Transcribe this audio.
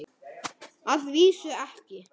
Að vísu ekki.